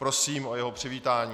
Prosím o jeho přivítání.